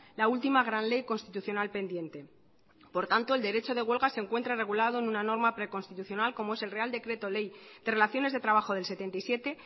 la última gran ley constitucional pendiente por tanto el derecho de huelga se encuentra regulado en una norma preconstitucional como es el real decreto ley de relaciones de trabajo del setenta y siete